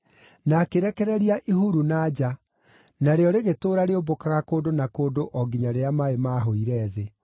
na akĩrekereria ihuru na nja, narĩo rĩgĩtũũra rĩũmbũkaga kũndũ na kũndũ o nginya rĩrĩa maaĩ maahũire thĩ.